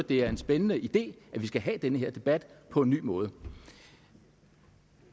det er en spændende idé at vi skal have den her debat på en ny måde